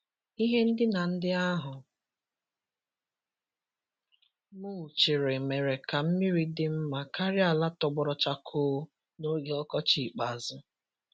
Ihe ndina ndị ahụ mulchịrị mere ka mmiri dị mma karịa ala tọgbọrọ chakoo n'oge ọkọchị ikpeazụ.